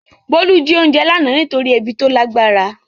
Bolu jí oúnjẹ lánàá nítorí ebi tó lágbára.